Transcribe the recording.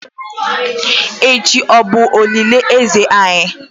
echi o bu olili eze anyi?